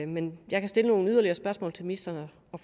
men jeg kan stille nogle yderligere spørgsmål til ministeren og